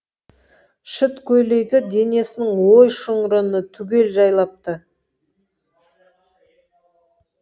шыт көйлегі денесінің ой шұңрыны түгел жайлапты